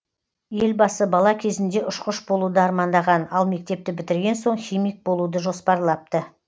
елбасы бала кезінде ұшқыш болуды армандаған ал мектепті бітірген соң химик болуды жоспарлапты